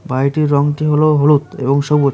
বাড়িটির রংটি হলো হলুদ এবং সবুজ।